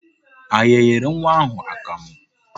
Anyị nyere nwa ahụ akamụ?